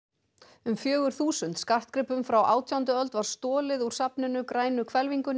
um fjögur þúsund skartgripum frá átjándu öld var stolið úr safninu grænu hvelfingunni í